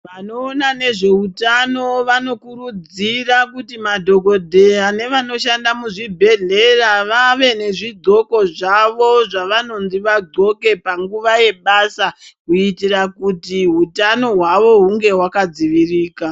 Vanoona nezveutano vanokurudzira kuti madhokodheya nevanoshanda muzvibhedhlera vave nezvidxoko zvavo zvavanonzi vadxoke panguva yebasa kuitira kuti hutano hwavo huve hwakadzivirika.